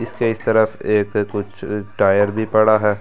इसके इस तरफ एक कुछ टायर भी पड़ा है।